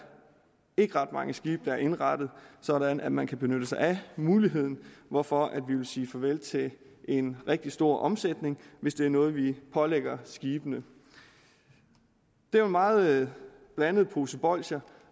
ikke ret mange skibe der er indrettet sådan at man kan benytte sig af muligheden hvorfor vi vil sige farvel til en rigtig stor omsætning hvis det er noget vi pålægger skibene det er en meget blandet pose bolsjer